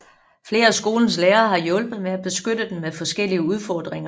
Flere af skolens lærere har hjulpet med at beskytte den med forskellige udfordringer